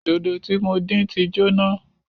Dòdò tí mo dín tí jóná